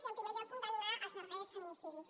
i en primer lloc condemnar els darrers feminicidis